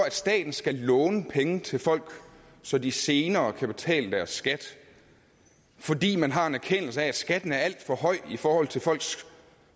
at staten skal låne penge til folk så de senere kan betale deres skat fordi man har en erkendelse af at skatten er alt for høj i forhold til folks